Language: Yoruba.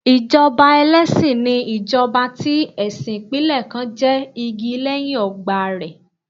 Ìjọba ẹlẹ́sìn ni ìjọba tí ẹ̀sìn ìpínlẹ̀ kan jẹ́ igi lẹ́yìn ọgbà rẹ̀.